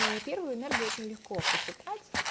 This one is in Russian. и первую энергию очень легко посчитать